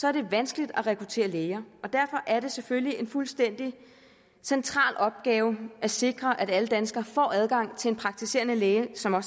er det vanskeligt at rekruttere læger derfor er det selvfølgelig en fuldstændig central opgave at sikre at alle danskere får adgang til en praktiserende læge som har